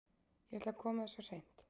Ég ætla að koma þessu á hreint.